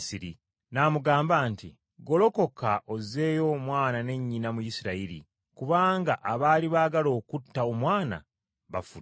n’amugamba nti, “Golokoka ozzeeyo Omwana ne nnyina mu Isirayiri, kubanga abaali baagala okutta Omwana bafudde.”